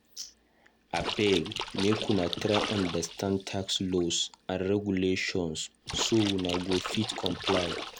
Abeg o make una try understand tax laws and regulations so una go fit comply.